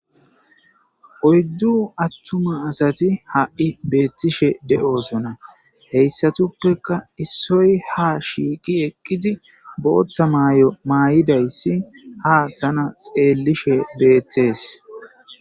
Oydu attuma asati ha'i beetishe de'osona. Hesatuppeka issoy ha shiiqi eqidi bootha mayo mayidaysa ha tana xeelishe beetes.